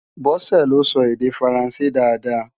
Bose lé sò èdè Fáránsé dàáda